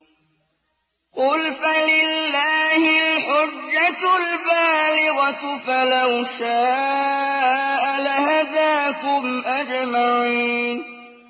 قُلْ فَلِلَّهِ الْحُجَّةُ الْبَالِغَةُ ۖ فَلَوْ شَاءَ لَهَدَاكُمْ أَجْمَعِينَ